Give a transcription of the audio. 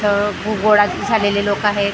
इथं गो गोळच झालेले लोकं आहेत.